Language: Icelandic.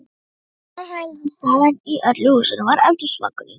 Eina hreinlætisaðstaðan í öllu húsinu var eldhúsvaskurinn.